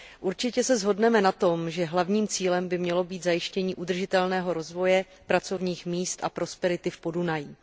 Určitě se shodneme na tom, že hlavním cílem by mělo být zajištění udržitelného rozvoje, pracovních míst a prosperity v Podunají.